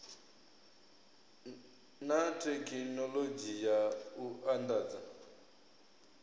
na thekhinoḽodzhi ya u andadza